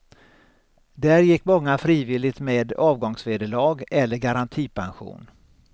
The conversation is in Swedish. Där gick många frivilligt med avgångsvederlag eller garantipension.